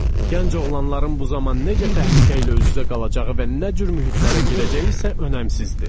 Gənc oğlanların bu zaman necə təhlükə ilə üz-üzə qalacağı və nə cür mühitlərə girəcəyi isə önəmsizdir.